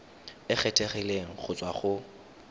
e kgethegileng go tswa go